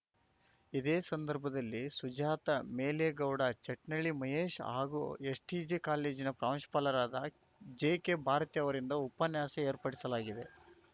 ಇದೇ ಸಂದರ್ಭದಲ್ಲಿ ಸುಜಾತ ಮೇಲೇಗೌಡ ಚಟ್ನಳ್ಳಿ ಮಹೇಶ್‌ ಹಾಗೂ ಎಸ್‌ಟಿಜೆ ಕಾಲೇಜಿನ ಪ್ರಾಂಶುಪಾಲರಾದ ಜೆಕೆ ಭಾರತಿ ಅವರಿಂದ ಉಪನ್ಯಾಸ ಏರ್ಪಡಿಸಲಾಗಿದೆ